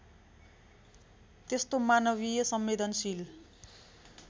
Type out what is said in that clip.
त्यस्तो मानवीय संवेदनशील